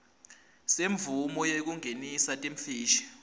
semvumo yekungenisa timfishi